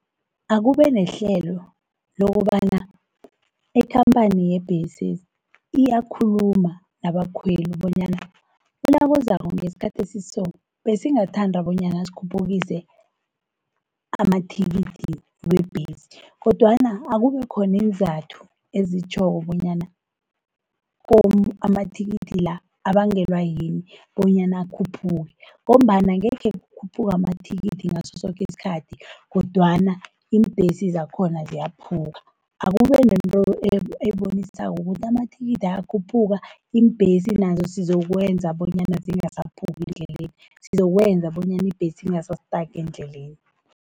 Akube nehlelo lokobana ikhampani yebhesi iyakhuluma nabakhweli, bonyana unyakozako ngesikhathi esiso, besingathanda bonyana sikhuphukise amathikithi weembesi, kodwana akube khoniinzathu ezitjhoko bonyana kom amathikithi la, abangelwa yini bonyana akhuphuke, ngombana angekhe kukhuphuka amathikithi ngasosoke isikhathi kodwana iimbhesi zakhona ziyakhuphuka. Akubenento ebonisako ukuthi amathikithi ayakhuphuka, iimbhesi nazo sizokwenza bonyana zingasaphuki endleleni, sizokwenza bonyana ibhesi ingasa-stage endleleni.